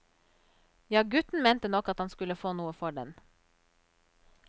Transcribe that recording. Ja, gutten mente nok at han skulle få noe for den.